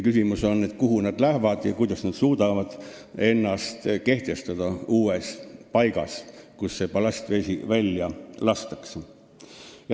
Küsimus on, kuhu nad lähevad ja kuidas nad suudavad ennast kehtestada uues paigas, kus see ballastvesi välja lastakse.